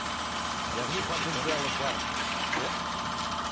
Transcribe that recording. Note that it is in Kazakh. потенциалы бар иә